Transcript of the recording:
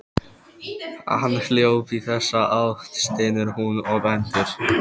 Hann hljóp í þessa átt, stynur hún og bendir.